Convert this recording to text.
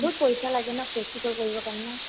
বাহুত পইছা লাগে ন practical লৰিব কাৰণে?